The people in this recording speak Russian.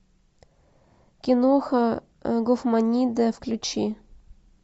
киноха гофманиада включи